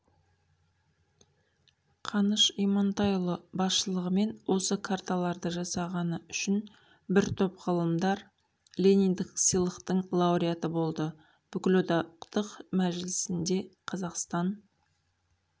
қаныш имантайұлы басшылығымен осы карталарды жасағаны үшін бір топ ғылымдар лениндік сыйлықтың лауреаты болды бүкілодақтық мәжілісіңде қазақстан